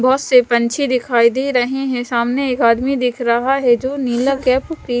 बहत से पंछी दिखाई दे रहे है सामने एक आदमी दिख रहा है जो नीला कैप --